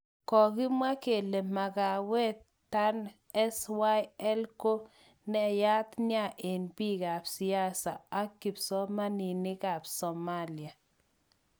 Kokimwa kele Makawet tan SYL ko nayat nia ak bik kap siasa ak kipsomaninik kap Somalia.